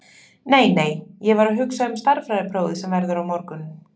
Nei, nei, ég var að hugsa um stærðfræðiprófið sem verður á morgun.